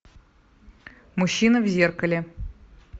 мужчина в зеркале